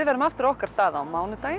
verðum á okkar stað á mánudag